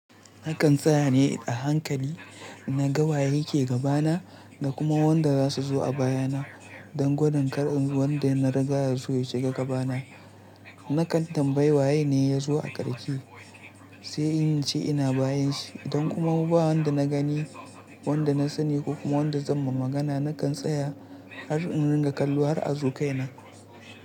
Nakan tsaya ne a hankali na gawaye ke gabana da kuma wanda za su zo a bayana don gudun kar inbar wanda na riga da ya zo ya shiga gabana. Nakan tambayi waye ne ya zo a karke sai in ce ina bayanshi don kuma ba wanda na gani, wanda na sani ko kuma wanda zan ma magana nakan tsaya har in ringa kallo har a zo kaina.